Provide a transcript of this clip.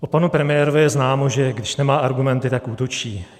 O panu premiérovi je známo, že když nemá argumenty, tak útočí.